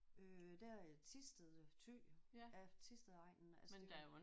Øh der Thisted øh Ty ja Thistedegnen altså det er jo